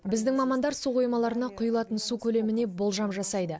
біздің мамандар су қоймаларына құйылатын су көлеміне болжам жасайды